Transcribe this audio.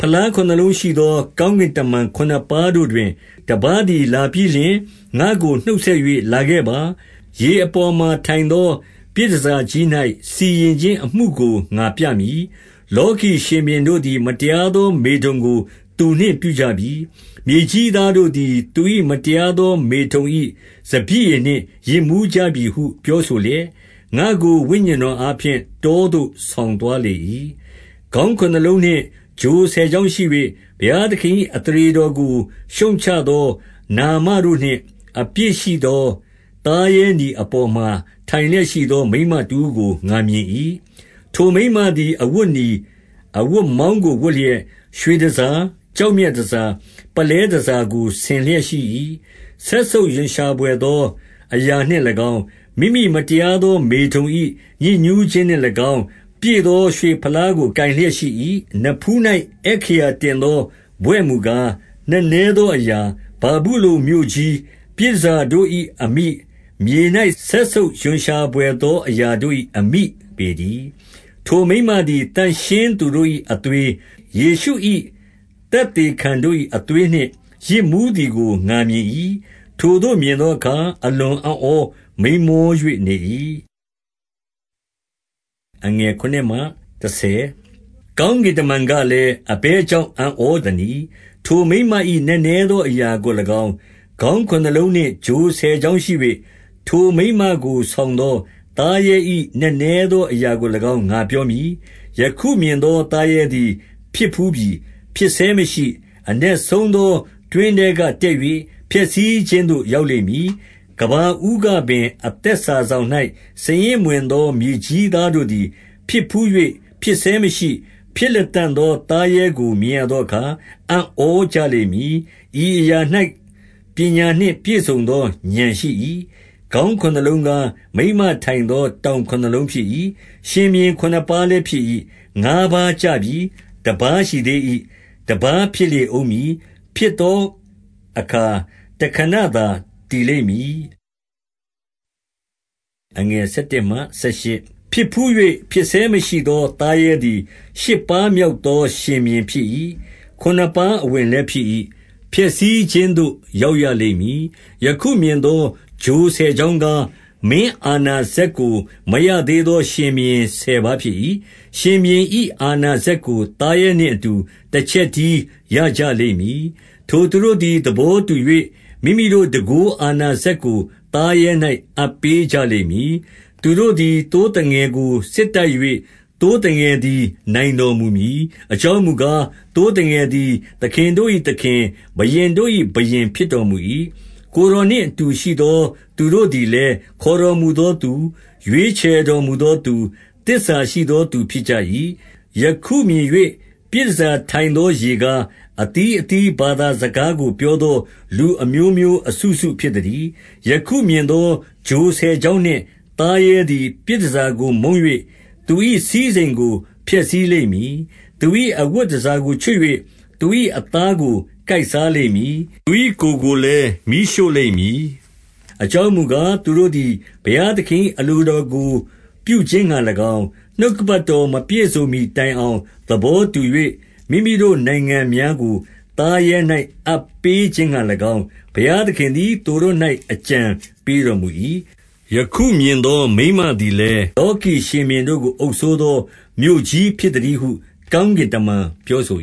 ဖလားခုနစ်လုံးရှိသော ကောင်းကင်တမန် ခုနစ်ပါးတို့တွင် တပါးသည်လာပြီးလျှင် ၊ ငါ့ကိုနှုတ်ဆက် ၍၊ လာခဲ့ပါ။ ရေအပေါ်မှာ ထိုင်သော ပြည်တန်ဆာကြီး၌ စီရင်ခြင်းအမှုကို ငါပြမည်။ 2 လောကီရှင်ဘုရင်တို့သည် မတရားသော မေထုန်ကို သူနှင့်ပြုကြပြီ။ မြေကြီးသားတို့သည် သူ၏ မတရားသောမေထုန်၏ စပျစ်ရည်နှင့် ယစ်မူးကြပြီဟု ပြောဆိုလျက်၊ 3 ငါ့ကို ဝိညာဉ်တော်အားဖြင့် တောသို့ဆောင်သွားလေ၏။ ခေါင်းခုနစ်လုံးနှင့် ချိုဆယ်ချောင်းရှိ၍၊ ဘုရားသခင်၏ အသရေတော်ကို ရှုတ်ချသောနာမတို့နှင့် အပြည့်ရှိသော သားရဲနီအပေါ်မှာ ထိုင်လျက်ရှိသော မိန်းမတဦးကို ငါမြင်၏။ 4 ထိုမိန်းမသည် အဝတ်နီ၊ အဝတ်မောင်းကို ဝတ်လျက်၊ ရွှေတန်ဆာ၊ ကျောက်မြတ်တန်ဆာ၊ ပုလဲ တန်ဆာကို ဆင်လျက်ရှိ၏။ စက်ဆုတ်ရွံ့ရှာဘွယ်သော အရာနှင့်၎င်း၊ မိမိမတရားသော မေထုန်၏ ညစ်ညူးခြင်း နှင့်၎င်း ပြည့်သောရွှေဖလားကို ကိုင်လျက်ရှိ၏။ 5 နဖူး၌အက္ခရာတင်သော ဘွဲ့မူကား၊ နက်နဲသော အရာ၊ ဗာဗုလုန်မြို့ကြီး၊ ပြည်တန်ဆာတို့၏ အမိ ၊ မြေ၌ စက်ဆုပ်ရွံ့ရှာဘွယ်သော အရာတို့၏ အမိပေတည်း။ 6 ထိုမိန်းမသည် သန့်ရှင်းသူတို့၏ အသွေး၊ ယေရှု၏ သက်သေခံတို့၏ အသွေးနှင့် ယစ်မူးသည်ကို ငါမြင်၏။ ထိုသို့မြင်သောအခါ အလွန်အံ့ဩမိန်းမော၍ နေ၏။ 7 ကောင်းကင်တမန်ကလည်း၊ အဘယ်ကြောင့် အံ့ဩသနည်း။ ထိုမိန်းမ၏ နက်နဲသော အရာကို၎င်း၊ ခေါင်းခုနစ်လုံးနှင့် ချိုဆယ်ချောင်းရှိ၍ ထိုမိန်းမကို ဆောင်သော သားရဲ၏ နက်နဲသောအရာကို၎င်း၊ ငါပြော မည်။ 8 ယခုမြင်သော သားရဲသည် ဖြစ်ဘူးပြီ၊ ဖြစ်ဆဲမရှိ၊ အနက်ဆုံးသော တွင်းထဲကတက်၍ ဖျက်ဆီးခြင်းသို့ ရောက်လိမ့်မည်။ ကမ္ဘာဦးကပင် အသက်စာစောင်၌ စာရင်းမဝင်သော မြေကြီးသားတို့သည် ဖြစ်ဘူး၍၊ ဖြစ်ဆဲမရှိ၊ ဖြစ်လတံ့သောသားရဲကို မြင်ရသောအခါ၊ အံ့ဩကြလိမ့်မည်။ 9 ဤအရာ၌ ပညာနှင့်ပြည့်စုံသော ဥာဏ်ရှိ၏။ ခေါင်းခုနစ်လုံးကား၊ မိန်းမထိုင်သော ထောင်ခုနစ်လုံး ဖြစ်၏။ 10 ရှင်ဘုရင်ခုနစ်ပါးလည်းဖြစ်၏။ ငါးပါးကျပြီး၊ တပါးရှိသေး၏။ တပါးဖြစ်လေဦးမည်။ ဖြစ်သောအခါ တခဏသာတည်လိမ့်မည်။ 11 ဖြစ်ဘူး၍ ဖြစ်ဆဲမရှိသောသားရဲသည် ရှစ်ပါးမြောက်သော ရှင်ဘုရင်ဖြစ်၏။ ခုနစ်ပါးအဝင်လည်း ဖြစ်၏။ ဖျက်ဆီးခြင်းသို့ ရောက်ရလိမ့်မည်။ 12 ယခုမြင်သော ချိုဆယ်ချောင်းကား၊ မင်းအာဏာစက်ကို မရသေးသော ရှင်ဘုရင်ဆယ်ပါး ဖြစ်၏။ ရှင် ဘုရင်၏ အာဏာစက်ကို သားရဲနှင့်အတူ တချက်တည်း ရကြလိမ့်မည်။ 13 ထိုသူတို့သည် သဘောတူ၍ မိမိတို့တန်ခိုး အာဏာစက်ကို သားရဲ၌ အပ်ပေးကြလိမ့်မည်။ 14 သူတို့သည် သိုးသငယ်ကို စစ်တိုက်၍ သိုးသငယ်သည် နိုင်တော်မူမည်။ အကြောင်းမူကား၊ သိုး သငယ်သည် သခင်တို့၏သခင် ဘုရင်တို့၏ဘုရင် ဖြစ်တော်မူ၏။ ကိုယ်တော်နှင့် အတူရှိသော သူတို့သည် လည်း ခေါ်တော်မူသောသူ၊ ရွေးချယ်တော်မူသောသူ၊ သစ္စာရှိသောသူ ဖြစ်ကြ၏။ 15 ယခုမြင်၍ ပြည်တန်ဆာထိုင်သော ရေကား၊ အသီးအသီး ဘာသာစကားကို ပြောသော လူအမျိုးမျိုး အစုစု ဖြစ်သတည်း။ 16 ယခုမြင်သော ချိုဆယ်ချောင်းနှင့် သားရဲသည် ပြည်တန်ဆာကို မုန်း၍ သူ၏စည်းစိမ်ကို ဖျက်ဆီးလိမ့် မည်။ သူ၏အဝတ်တန်ဆာကိုချွတ်၍ သူ၏အသားကို ကိုက်စားလိမ့်မည်။ 17 သူ၏ကိုယ်ကိုလည်း မီးရှို့လိမ့်မည်။ အကြောင်းမူကား၊ သူတို့သည် ဘုရားသခင်၏ အလိုတော်ကို ပြုခြင်းငှါ၎င်း၊ နှုတ်ကပတ်တော်မပြည့်စုံမှီတိုင်အောင် သဘောတူ၍ မိမိတို့နိုင်ငံများကို သားရဲ၌ အပ်ပေးခြင်းငှါ၎င်း၊ ဘုရားသခင်သည် သူတို့၌ အကြံပေးတော်မူ၏။ 18 ယခုမြင်သော မိန်းမသည်လည်း၊ လောကီရှင်ဘုရင်တို့ကို အုပ်စိုးသော မြို့ကြီးဖြစ်သတည်းဟု ကောင်းကင်တမန် ပြောဆို